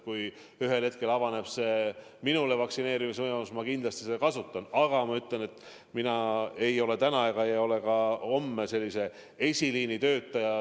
Kui ühel hetkel avaneb ka mulle vaktsineerimise võimalus, siis ma kindlasti seda kasutan, aga ma ütlen, et mina ei ole täna ega ole ka homme eesliini töötaja.